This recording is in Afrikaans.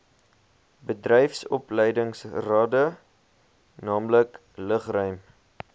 bedryfsopleidingsrade naamlik lugruim